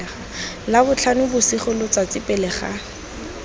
labotlhano bosigo letsatsi pele ga